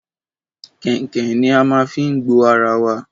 Kèǹkè ni a má n fi gbo ara wa